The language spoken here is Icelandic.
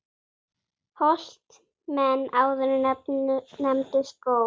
Holt menn áður nefndu skóg.